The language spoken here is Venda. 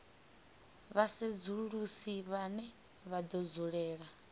vhasedzulusi vhane vha do dzulela